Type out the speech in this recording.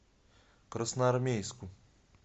красноармейску